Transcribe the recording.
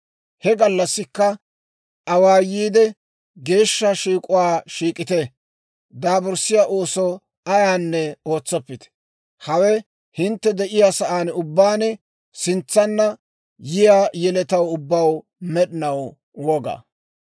He gallassikka awaayiide geeshsha shiik'uwaa shiik'ite; daaburssiyaa ooso ayaanne ootsoppite. Hawe hintte de'iyaa saan ubbaan sintsanna yiyaa yeletaw ubbaw med'inaw woga.